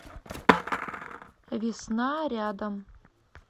весна рядом